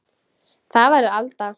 Það verður Alda.